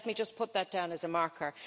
So let me just put that down as a marker.